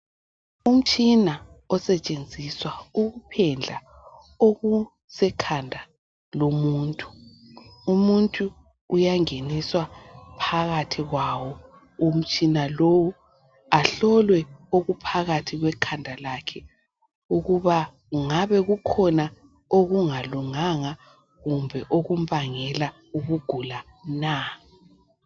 Umtshina osetshenziswa ukuphendla okusekhanda lomuntu. Umuntu uyangeniswa phakathi kwawo umtshina lowu ahlolwe phakathi kwekhanda lakhe ukuba ngabe kukhona okungalunganga kumbe okumbangela ukugula na